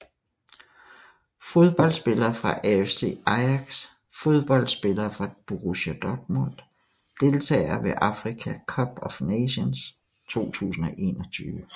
Fodboldspillere fra AFC Ajax Fodboldspillere fra Borussia Dortmund Deltagere ved Africa Cup of Nations 2021